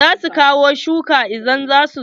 Za su kawo shuwaka idan za su zo.